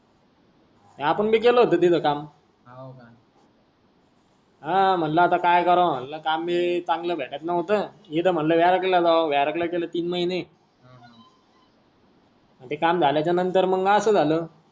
आपण भी गेलो होतो तिथ काम. हाव का. ह म्हटल आता काय कारव म्हटल काम भी चांगल भेटत नव्हत मी तर मी तर म्हटल व्यारघ ला जाव व्यारघ गेलो तीन महीने ते काम झाल्या च नंतर मग आस झाल.